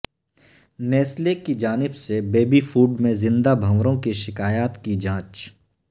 Nestle کی جانب سے بےبی فوڈ میں زندہ بھونروں کی شکایات کی جانچ